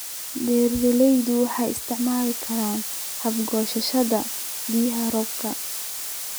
Beeralayda waara waxay isticmaali karaan hababka goosashada biyaha roobka.